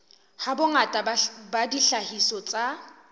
ha bongata ba dihlahiswa tsa